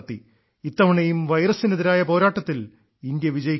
ഇത്തവണയും വൈറസിനെതിരായ പോരാട്ടത്തിൽ ഇന്ത്യ വിജയിക്കുന്നു